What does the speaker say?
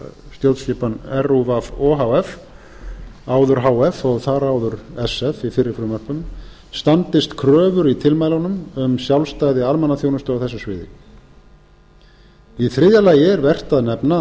stjórnskipan rúv o h f standist kröfur í tilmælunum um sjálfstæði almannaþjónustu á þessu sviði í þriðja lagi er vert að nefna að